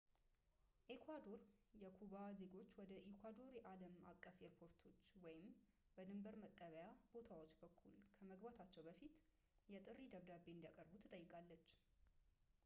ኤኳዶር የኩባ ዜጉች ወደ ኤኳዶር በአለም አቀፍ ኤርፖርቶች ወይም በድንበር መቀበያ ቦታዎች በኩል ከመግባታቸው በፊት የጥሪ ደብዳቤ እንዲያቀርቡ ትጠይቃለች